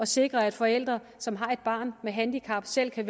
sikre at forældre som har et barn med handicap selv kan